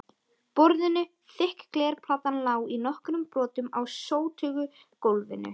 borðinu, þykk glerplatan lá í nokkrum brotum á sótugu gólfinu.